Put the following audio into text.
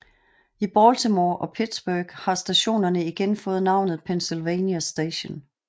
I Baltimore og Pittsburgh har stationerne igen fået navnet Pennsylvania Station